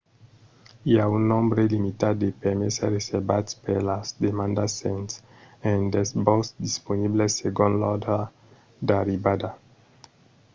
i a un nombre limitat de permeses reservats per las demandas sens rendetz-vos disponibles segon l'òrdre d'arribada